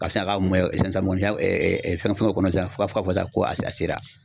Ka sin ka a ka sisan sisan mɔgɔnifinya fɛngɛw kɔnɔ sisan fo ka fɔ ko a sera.